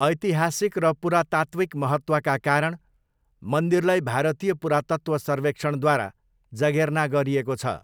ऐतिहासिक र पुरातात्विक महत्त्वका कारण, मन्दिरलाई भारतीय पुरातत्त्व सर्वेक्षणद्वारा जगेर्ना गरिएको छ।